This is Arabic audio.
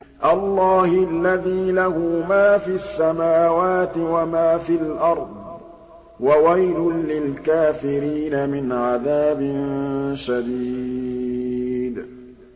اللَّهِ الَّذِي لَهُ مَا فِي السَّمَاوَاتِ وَمَا فِي الْأَرْضِ ۗ وَوَيْلٌ لِّلْكَافِرِينَ مِنْ عَذَابٍ شَدِيدٍ